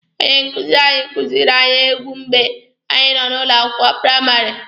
Onye nkuzi anyị kuziiri anyị egwu mgbe anyị nọ ụlọ akwụkwọ praịmarị.